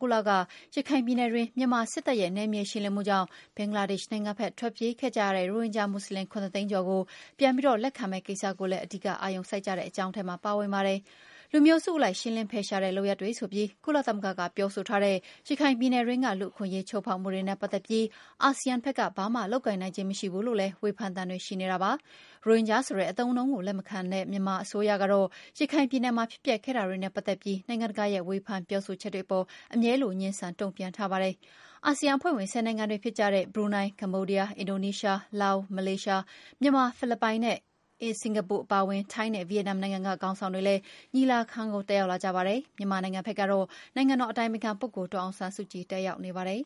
ဂုတ်လက ရခိုင်ပြည်နယ်တွင်း မြန်မာ စစ်တပ်ရဲ့ နယ်မြေရှင်းလင်းမှုကြောင့် ဘင်္ဂလားဒေ့ရှ်နိုင်ငံဘက် ထွက်ပြေးခဲ့ကြတဲ့ ရိုဟင်ဂျာမွတ်ဆလင် ၇၀၀,၀၀၀ ကျော်ကို ပြန်လည်လက်ခံမယ့် ကိစ္စကိုလည်း အဓိက အာရုံစိုက်ကြတဲ့ အကြောင်းအရာထဲမှာ ပါဝင်ပါတယ်။ လူမျိုးစုအလိုက် ရှင်းလင်းဖယ်ရှားတဲ့ လုပ်ရပ်တွေဆိုပြီး ကုလသမဂ္ဂက ပြောဆိုထားတဲ့ ရခိုင်ပြည်နယ်တွင်းက လူ့အခွင့်အရေး ချိုးဖောက်မှုတွေနဲ့ပတ်သက်ပြီး အာဆီယံဘက်က ဘာမှလုပ်ကိုင်နိုင်ခြင်း မရှိဘူးလို့လည်း ဝေဖန်သံ တွေရှိနေတာ ဖြစ်ပါတယ်။ ရိုဟင်ဂျာဆိုတဲ့အသုံးအနှုန်းကို လက်ခံအသိအမှတ်ပြုမထားတဲ့ မြန်မာအစိုးရကတော့ ရခိုင်ပြည်နယ်မှာ ဖြစ်ပျက်ခဲ့တာတွေနဲ့ပတ်သက်ပြီး နိုင်ငံတကာရဲ့ ဝေဖန်ပြောဆိုချက်တွေအပေါ် အမြဲလို ငြင်းဆန် တုံ့ပြန်ထားပါတယ်။ အာဆီယံအဖွဲ့ဝင် ၁၀ နိုင်ငံတွေဖြစ်ကြတဲ့ Brunei, Cambodia, Indonesia, Laos, Malaysia, Myanmar, Philippines, Singapore, Thailand နဲ့ Vietnam က နိုင်ငံခေါင်းဆောင်တွေလည်း ညီလာခံကို တက်ရောက်လာသလို မြန်မာနိုင်ငံကတော့ အတိုင်ပင်ခံပုဂ္ဂိုလ် ဒေါ်အောင်ဆန်းစုကြည် တက်ရောက်နေပါတယ်